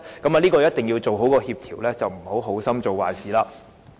當中一定要妥善協調，免得好心做壞事。